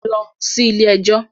Lọ sí ilé-ẹjọ̀